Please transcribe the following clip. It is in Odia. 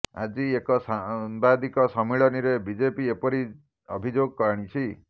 ଆଜି ଏକ ସାମ୍ବାଦିକ ସମ୍ମିଳନୀରେ ବିଜେପି ଏପରି ଅଭିଯୋଗ ଆଣିଛି